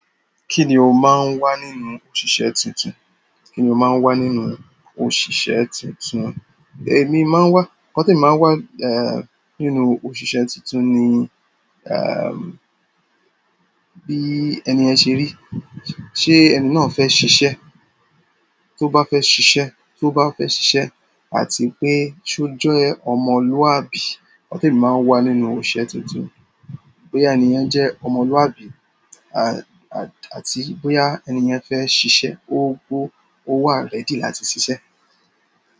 Kí ni o máa ń wá nínú òṣìṣẹ́ tuntun? Kí ni o máa ń wá nínú òṣìṣẹ́ tuntun? Èmi má ń wá-- nǹkan témi má ń wá nínú òṣìṣẹ́ tuntun ni, bí ẹni yẹn ṣe rí. Ṣé ẹni náà fẹ́ ṣiṣẹ́? Tó bá fẹ́ ṣiṣẹ́, tó bá fẹ́ ṣiṣẹ́ àti pé ṣé ó jẹ́ ọmọlúwàbí. Ọ̀tọ̀ọ̀tọ̀ èmi má ń wá nínú òṣìṣẹ́ tuntun. Bóyá ẹni yẹn jẹ́ ọmọlúwàbí, à, àti bóyá ènìyàn fẹ́ ṣiṣẹ́, ó wọ́, ó wà rẹ́dì láti ṣiṣẹ́.